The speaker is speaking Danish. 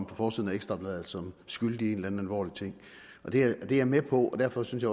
på forsiden af ekstra bladet som skyldig i en eller anden alvorlig ting det er jeg med på og derfor synes